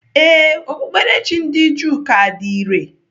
Ee, Okpukperechi ndị Juu ka dị irè.